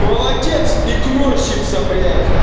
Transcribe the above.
молодец игнорщица блять